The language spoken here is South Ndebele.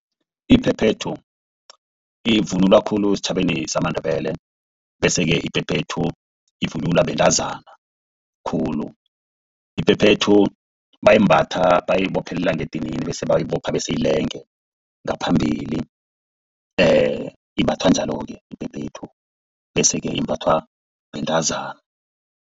Iphephethu ivunulwa khulu esitjhabeni samaNdebele. Bese-ke iphephethu ivunulwa bentazana khulu. Iphephethu bayimbatha bayibophelele ngedinini bese bayibopha bese ilenge ngaphambili. Imbathwa njalo-ke iphephethu bese-ke imbathwa bentazana.